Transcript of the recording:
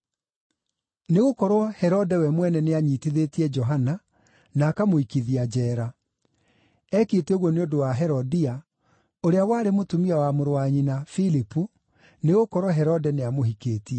Nĩgũkorwo, Herode we mwene nĩanyiitithĩtie Johana na akamũikithia njeera. Eekĩte ũguo nĩ ũndũ wa Herodia, ũrĩa warĩ mũtumia wa mũrũ wa nyina Filipu, nĩgũkorwo Herode nĩamũhikĩtie.